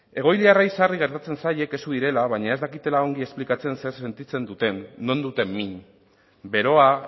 egoiliarrei sarri gertatzen zaie kexu direla baina ez dakitela ongi esplikatzen zer sentitzen duten non duten min beroa